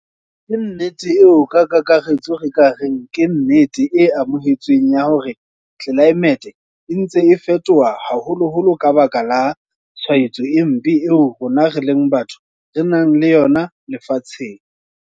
Ke nnete eo ka kakaretso re ka reng ke nnete e amohetsweng ya hore tlelaemete e ntse e fetoha haholoholo ka baka la tshwaetso e mpe eo rona re leng batho re nang le yona lefatsheng.